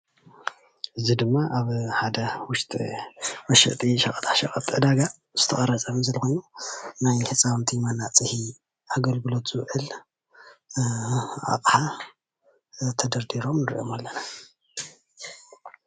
እዚ ድማ ኣብ ሓደ ውሽጢ መሸጢ ሸቀጣቀሸጥ ዕዳጋ ዝተቀረፀ ከም ዘሎ ኮይኑ ናይ ህፃውንቲ መናፅሂ ኣገልግሎት ዝውዕል ኣቕሓ ተደርዲሮም ንሪኦም ኣለና፡፡